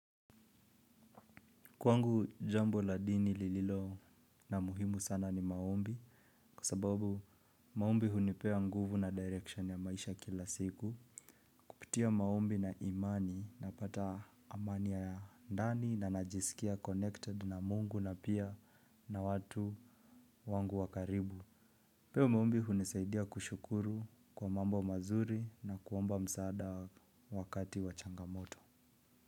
Kwangu jambo la dini lililo na muhimu sana ni maombi kwsababu maombi hunipea nguvu na direction ya maisha kila siku. Kupitia maombi na imani na pata amani ya ndani na najisikia connected na mungu na pia na watu wangu wa karibu. Peo maombi hunisaidia kushukuru kwa mambo mazuri na kuomba msaada wakati wa changamoto.